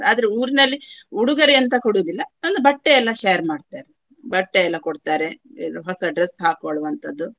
ಆದ್ರೆ ಊರಿನಲ್ಲಿ ಉಡೊಗೊರೆ ಅಂತ ಕೊಡುದಿಲ್ಲ ಒಂದು ಬಟ್ಟೆಯೆಲ್ಲ share ಮಾಡ್ತಾರೆ. ಬಟ್ಟೆ ಎಲ್ಲಾ ಕೊಡ್ತಾರೆ. ಇದು ಹೊಸ dress ಹಾಕ್ಕೊಳ್ಳುವಂತಹದ್ದು.